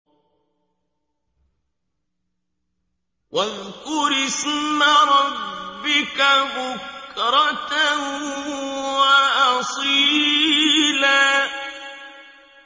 وَاذْكُرِ اسْمَ رَبِّكَ بُكْرَةً وَأَصِيلًا